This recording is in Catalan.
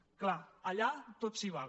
és clar allà tot s’hi val